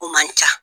O man ca